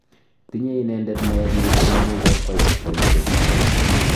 Tinye inendet naet missing amu kokwai boishet akoi.